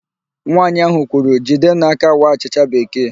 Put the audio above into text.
Nwaanyị ahụ kwuru, "jidenụ aka waa achịcha bekee"!